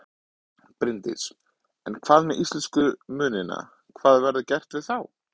Bryndís: En hvað með íslensku munina, hvað verður gert við þá?